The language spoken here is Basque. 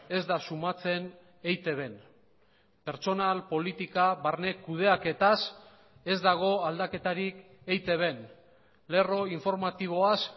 ez da sumatzen eitbn pertsonal politika barne kudeaketaz ez dago aldaketarik eitbn lerro informatiboaz